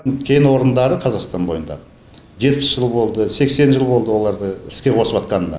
кен орындары қазақстан бойындағы жетпіс жыл болды сексен жыл болды оларды іске қосыватқанына